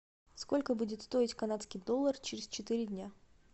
сколько будет стоить канадский доллар через четыре дня